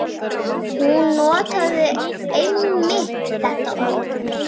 Hún notaði einmitt þetta orð.